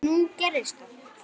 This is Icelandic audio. Og nú gerðist það.